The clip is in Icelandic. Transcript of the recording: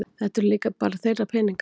Þetta eru líka þeirra peningar